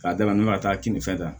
K'a da nugu ka taa kini fɛ yan